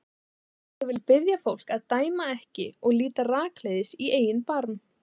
En ég vil biðja fólk að dæma ekki og líta rakleiðis í eigin barm.